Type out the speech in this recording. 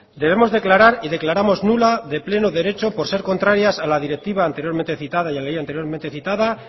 debemos declarar y declaramos nula de pleno derecho por ser contrarias a la directiva anteriormente citada y a la ley anteriormente citada